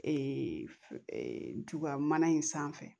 Ee ntugan mana in sanfɛ